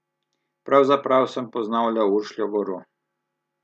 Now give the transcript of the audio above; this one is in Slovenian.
Pravzaprav sem poznal le Uršljo goro.